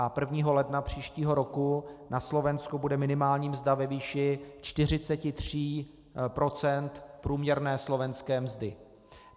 A 1. ledna příštího roku na Slovensku bude minimální mzda ve výši 43 % průměrné slovenské mzdy.